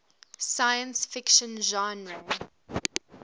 science fiction genre